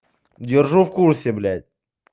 держу в курсе блять